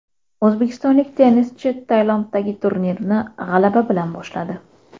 O‘zbekistonlik tennischi Tailanddagi turnirni g‘alaba bilan boshladi.